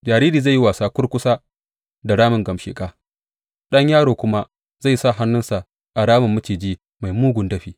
Jariri zai yi wasa kurkusa da ramin gamsheƙa, ɗan yaro kuma zai sa hannunsa a ramin maciji mai mugun dafi.